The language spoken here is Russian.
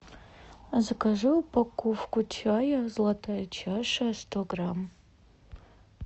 закажи упаковку чая золотая чаша сто грамм